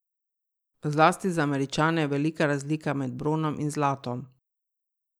Zlasti za Američane je velika razlika med bronom in zlatom.